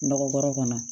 Nɔgɔ kɔrɔ kɔnɔ